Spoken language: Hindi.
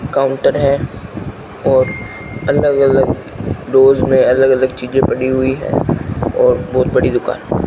काउंटर है और अलग अलग डोर्स में अलग अलग चीजें पड़ी हुई हैं और बहुत बड़ी दुकान है।